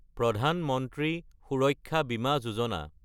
প্ৰধান মন্ত্ৰী সুৰক্ষা বিমা যোজনা